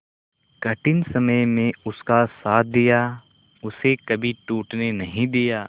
कठिन समय में उसका साथ दिया उसे कभी टूटने नहीं दिया